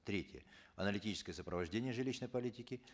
третье аналитическое сопровождение жилищной политики